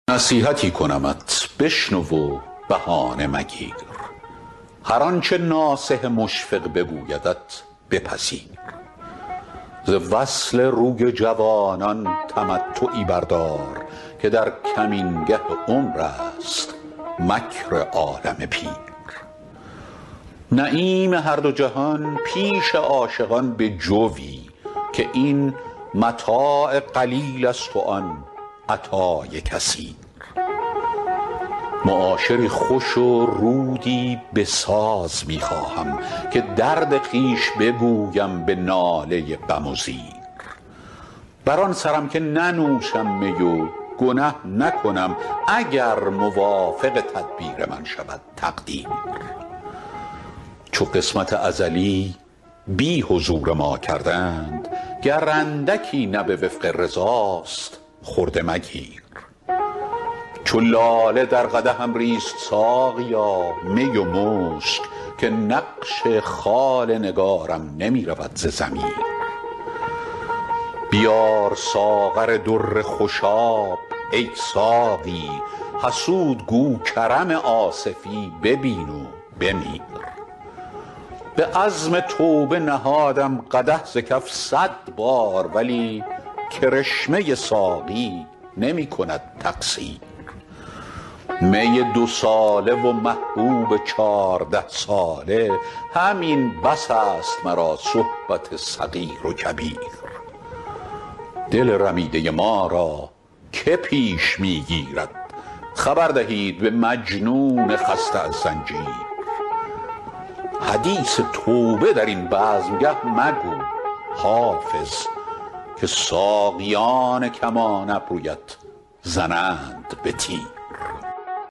نصیحتی کنمت بشنو و بهانه مگیر هر آنچه ناصح مشفق بگویدت بپذیر ز وصل روی جوانان تمتعی بردار که در کمینگه عمر است مکر عالم پیر نعیم هر دو جهان پیش عاشقان بجوی که این متاع قلیل است و آن عطای کثیر معاشری خوش و رودی بساز می خواهم که درد خویش بگویم به ناله بم و زیر بر آن سرم که ننوشم می و گنه نکنم اگر موافق تدبیر من شود تقدیر چو قسمت ازلی بی حضور ما کردند گر اندکی نه به وفق رضاست خرده مگیر چو لاله در قدحم ریز ساقیا می و مشک که نقش خال نگارم نمی رود ز ضمیر بیار ساغر در خوشاب ای ساقی حسود گو کرم آصفی ببین و بمیر به عزم توبه نهادم قدح ز کف صد بار ولی کرشمه ساقی نمی کند تقصیر می دوساله و محبوب چارده ساله همین بس است مرا صحبت صغیر و کبیر دل رمیده ما را که پیش می گیرد خبر دهید به مجنون خسته از زنجیر حدیث توبه در این بزمگه مگو حافظ که ساقیان کمان ابرویت زنند به تیر